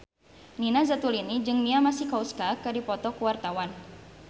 Nina Zatulini jeung Mia Masikowska keur dipoto ku wartawan